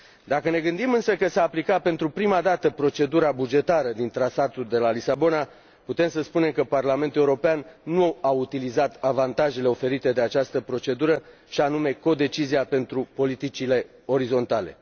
Dacă ne gândim, însă, că s a aplicat pentru prima dată procedura bugetară din Tratatul de la Lisabona, putem spune că Parlamentul European nu a utilizat avantajele oferite de această procedură, și anume codecizia pentru politicile orizontale.